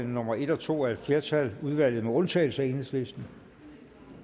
nummer en og to af et flertal udvalget med undtagelse af enhedslisten